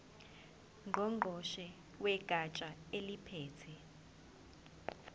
ngqongqoshe wegatsha eliphethe